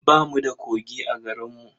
Ba mu da kogi a garinmu.